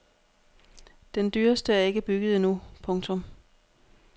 Den dyreste er ikke bygget endnu. punktum